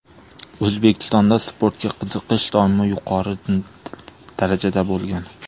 O‘zbekistonda sportga qiziqish doimo yuqori darajada bo‘lgan.